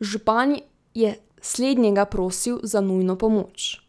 Župan je slednjega prosil za nujno pomoč,